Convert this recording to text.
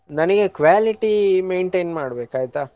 ನನಿಗೆ quality maintain ಮಾಡಬೇಕು ಆಯ್ತಾ.